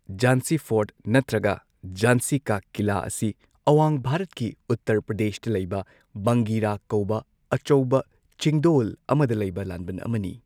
ꯓꯥꯟꯁꯤ fort ꯅꯠꯇ꯭ꯔꯒ ꯓꯥꯟꯁꯤ ꯀꯥ ꯀꯤꯂꯥ ꯑꯁꯤ ꯑꯋꯥꯡ ꯚꯥꯔꯠꯀꯤ ꯎꯠꯇꯔ ꯄ꯭ꯔꯗꯦꯁꯇ ꯂꯩꯕ ꯕꯪꯒꯤꯔꯥ ꯀꯧꯕ ꯑꯆꯧꯕ ꯆꯤꯡꯗꯣꯜ ꯑꯃꯗ ꯂꯩꯕ ꯂꯥꯟꯕꯟ ꯑꯃꯅꯤ꯫